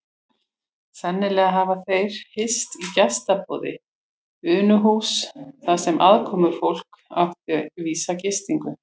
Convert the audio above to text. Sennilega hafa þeir hist í gestaboði Unuhúss þar sem aðkomufólk átti vísa gistingu.